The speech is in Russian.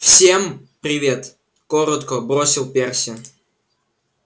всем привет коротко бросил перси